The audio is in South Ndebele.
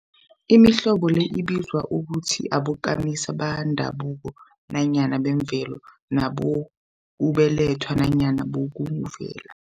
Imihlobo le ibizwa ukuthi bokamisa bendabuko nanyana bemvelo, nabokubelethwa nanyana bokuvela.